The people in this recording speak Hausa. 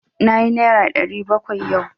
Nayi naira ɗari bakwai yau.